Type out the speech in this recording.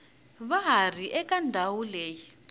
va ri eka ndhawu leyi